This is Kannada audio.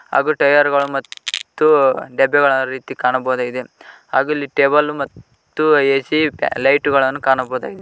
ಹಾಗು ಟೈಯರ್ ಗಳು ಮತ್ತು ಡಬ್ಬಿಗಳ ರೀತಿ ಕಾಣಬಹುದಾಗಿದೆ ಹಾಗು ಇಲ್ಲಿ ಟೇಬಲ್ ಮತ್ತು ಎ_ಸಿ ಲೈಟ್ ಗಳನ್ನು ಕಾಣಬಹುದಾಗಿದೆ.